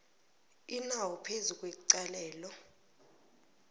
inawo phezu kwecalelo